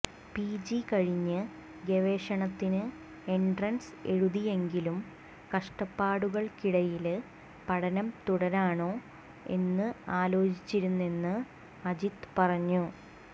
P G കഴിഞ്ഞ് ഗവേഷണത്തിന് entrance എഴുതിയെങ്കിലും കഷ്ടപ്പാടുകള്ക്കിടയില് പഠനം തുടരണോ എന്ന് ആലോചിച്ചിരുന്നെന്ന് അജിത്ത് പറഞ്ഞു